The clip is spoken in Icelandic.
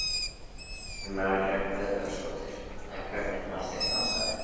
Elín Margrét Böðvarsdóttir: En hvernig fannst þér dansararnir?